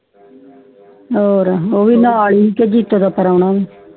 ਹੋਰ ਯੂਵੀ ਨਾਲ ਸੀ ਤੇ ਦੀਪੇ ਦਾ ਪਰੋਣਾ ਸੀ